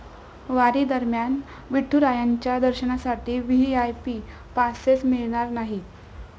वारीदरम्यान विठुरायांच्या दर्शनासाठी VIP passes मिळणार नाहीत!